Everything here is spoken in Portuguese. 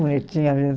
Bonitinha mesmo